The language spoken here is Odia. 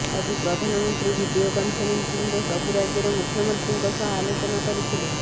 ଆଜି ପ୍ରଧାନମନ୍ତ୍ରୀ ଭିଡିଓ କନ୍ଫରେନ୍ସିଂରେ ସବୁ ରାଜ୍ୟର ମୁଖ୍ୟମନ୍ତ୍ରୀଙ୍କ ସହ ଆଲୋଚନା କରିଥିଲେ